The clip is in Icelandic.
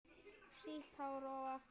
Sítt hár að aftan.